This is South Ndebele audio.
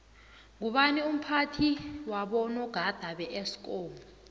ngubani umphathi wabonagada beesikomu